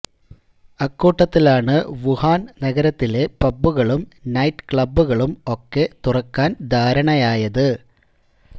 അക്കൂട്ടത്തിലാണ് Wuhan നഗരത്തിലെ പബ്ബുകളും night ക്ലബ്ബുകളും ഒക്കെ തുറക്കാൻ ധാരണയായത്